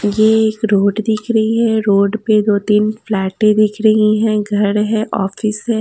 ये एक रोड दिख रही है रोड पे दो तीन फ़्लैटे दिख रही हैं घर है ऑफिस है।